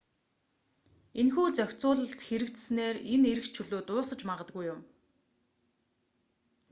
энэхүү зохицуулалт хэрэгжсэнээр энэ эрх чөлөө дуусаж магадгүй юм